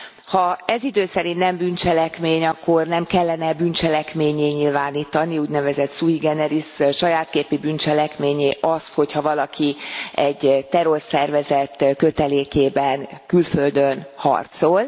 Ha ez idő szerint nem bűncselekmény, akkor nem kellene e bűncselekménnyé nyilvánítani úgy nevezett sui generis saját képi bűncselekménnyé azt, hogy ha valaki egy terrorszervezet kötelékében külföldön harcol?